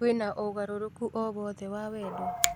kwina ũgarũrũku owothe wa wendo